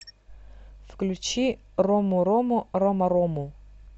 включи ромурому ромарому